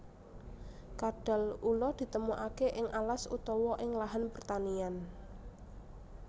Kadal ula ditemokake ing alas utawa ing lahan pertanian